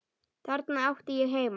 Þarna átti ég heima.